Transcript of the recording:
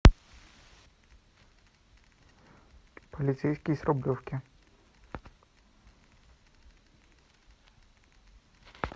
полицейский с рублевки